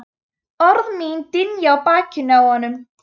Orð mín dynja á bakinu á honum.